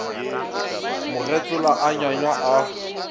mo getsola a nywanywa a